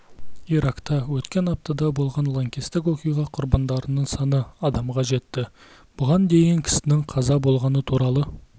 иракта өткен аптада болған лаңкестік оқиға құрбандарының саны адамға жетті бұған дейін кісінің қаза болғаны туралы